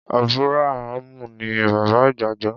Ábúráhámù ní bàbá ìgbàgbọ́.